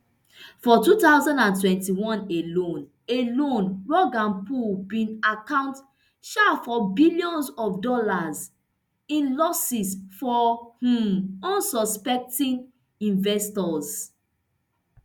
for two thousand and twenty-one alone alone rug and pull bin account um for billions of dollars in losses for um unsuspecting investors